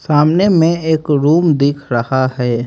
सामने में एक रूम दिख रहा है।